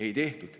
Ei tehtud.